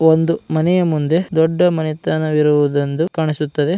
ಒಂದು ಮನೆಯ ಮುಂದೆ ದೊಡ್ಡ ಮನೆತನವಿರುವುದೊಂದು ಕಾಣಿಸುತ್ತದೆ.